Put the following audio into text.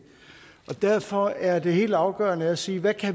derfor er det helt afgørende at sige hvad